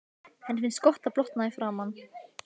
Henni finnst gott að blotna í framan.